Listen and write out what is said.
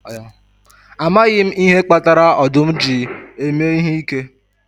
Amaghị m ihe kpatara ọdụm ji eme ihe ike